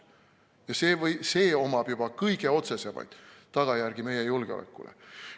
Ja sellel on juba kõige otsesemaid tagajärgi meie julgeolekule.